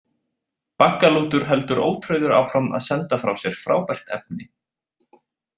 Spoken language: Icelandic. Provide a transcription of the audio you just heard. Baggalútur heldur ótrauður áfram að senda frá sér frábært efni.